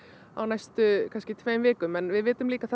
á næstu tveimur vikum en við vitum líka